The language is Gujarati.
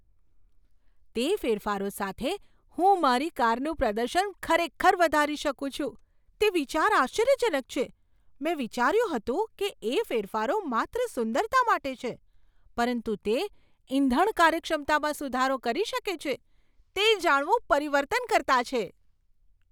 તે ફેરફારો સાથે હું મારી કારનું પ્રદર્શન ખરેખર વધારી શકું છું, તે વિચાર આશ્ચર્યજનક છે. મેં વિચાર્યું હતું કે એ ફેરફારો માત્ર સુંદરતા માટે છે, પરંતુ તે ઇંધણ કાર્યક્ષમતામાં સુધારો કરી શકે છે, તે જાણવું પરિવર્તનકર્તા છે.